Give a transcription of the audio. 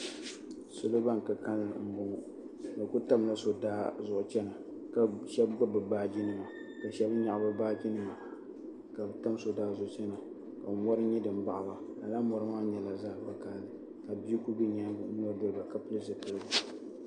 Salo ban ka kalili m boŋɔ bɛ kuli tamla so daa zuɣu chena ka sheba gbibi bɛ baaji nima ka sheba mee nyaɣi bɛ baaji nima ka bɛ tam so daa zuɣu chena ka mori nyɛ din baɣi ba lala mori maa nyɛla zaɣa vakahali ka bia kuli be nyaanga n yina doli ba ka pili zipiligu.